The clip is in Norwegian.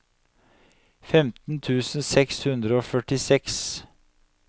femten tusen seks hundre og førtiseks